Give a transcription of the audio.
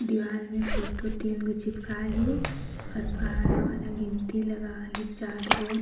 दीवाल मे फोटो तीन गो चिपका ली और पहाड़ा वाला गिनती लगा ली चार्ट बोर्ड --